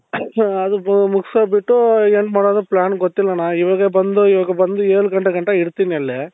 ಅದರ್ದು ಮುಗ್ಸ್ ಬಿಟ್ಟು ಏನ್ ಮಾಡೋದು plan ಗೊತ್ತಿಲ್ಲಣ್ಣ ಇವಾಗ ಬಂದು ಇವಾಗ ಬಂದು ಏಳು ಗಂಟೆ ಗಂಟ ಇರ್ತೀನಿ ಅಲ್ಲಿ